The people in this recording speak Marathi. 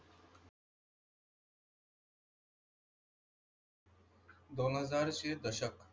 दोन हजारचे दशक.